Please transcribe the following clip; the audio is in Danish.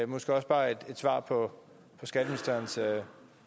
måske også bare et svar på skatteministerens